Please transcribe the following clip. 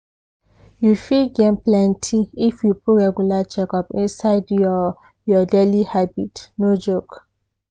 you fit gain plenty if you put regular checkup inside your your daily habit no joke.